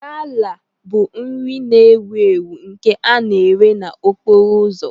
Gala bụ nri na-ewu ewu nke a na-eré n'okporo ụzọ.